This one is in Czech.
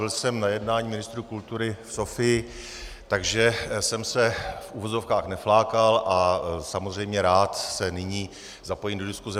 Byl jsem na jednání ministrů kultury v Sofii, takže jsem se v uvozovkách neflákal a samozřejmě rád se nyní zapojím do diskuse.